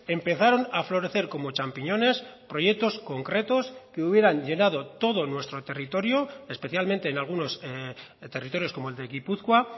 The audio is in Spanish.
empezaron a florecer como champiñones proyectos concretos que hubieran llenado todo nuestro territorio especialmente en algunos territorios como el de gipuzkoa